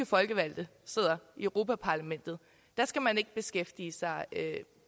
folkevalgte sidder europa parlamentet skal man ikke beskæftige sig